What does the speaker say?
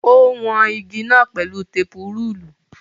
Ó wọn igi náà pẹ̀lú tepu-rúùlù.